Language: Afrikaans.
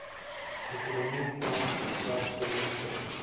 ekonomie tans werksgeleenthede